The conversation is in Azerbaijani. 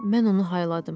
Mən onu hayladım.